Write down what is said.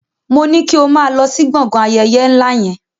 Moní kí o máa lọ sí gbọ̀ngàn ayẹyẹ ńlá yẹn!